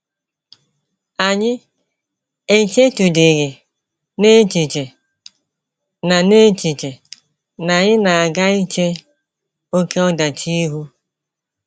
Anyị echetụdịghị n’echiche na n’echiche na anyị na - aga iche oké ọdachi ihu.